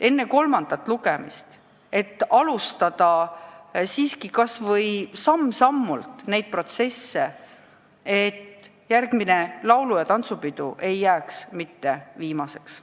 Ehk saab vähemalt samm-sammult algatada protsessi, et järgmine laulu- ja tantsupidu ei jääks mitte viimaseks.